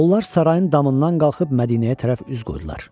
Onlar sarayın damından qalxıb Mədinəyə tərəf üz qoydular.